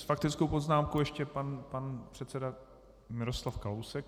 S faktickou poznámkou ještě pan předseda Miroslav Kalousek.